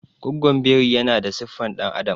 gwagwon biri yana da siffar dan'adam